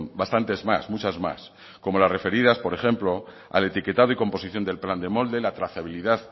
bastantes más muchas más como la referidas por ejemplo al etiquetado y composición del pan de molde la trazabilidad